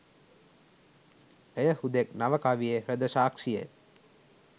එය හුදෙක් නව කවියේ හෘද සාක්ෂිය